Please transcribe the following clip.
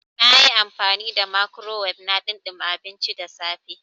Na yi amfani da microwave na ɗumama abinci da safe.